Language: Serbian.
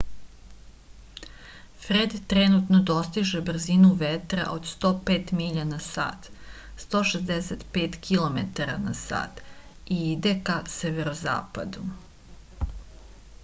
фред тренутно достиже брзину ветра од 105 миља на сат 165 km/h и иде ка северозападу